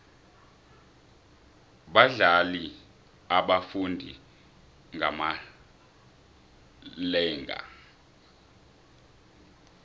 badlani abafundi ngamalenga